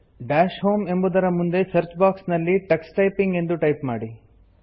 dash home ಎಂಬುದರ ಮುಂದೆ search box ನಲ್ಲಿ ಟಕ್ಸ್ ಟೈಪಿಂಗ್ ಎಂದು ಟೈಪ್ ಮಾಡಿ